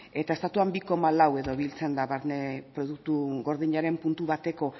eta estatuan bi koma lau edo biltzen da barne produktu gordinaren puntu bateko